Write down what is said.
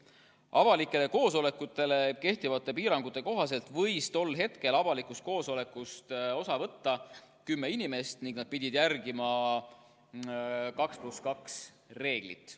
Avalikele koosolekutele kehtivate piirangute kohaselt võis tol hetkel avalikust koosolekust osa võtta kõige rohkem kümme inimest ning nad pidid järgima 2 + 2 reeglit.